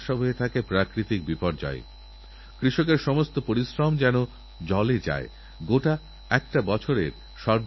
এটা ঠিক যে গত এক দশকে মায়েদের প্রসবকালীন মৃত্যুর হার কমেছেকিন্তু তবুও আজও অনেক গর্ভবতী মায়েদের জীবন বাঁচানো সম্ভবপর হয় না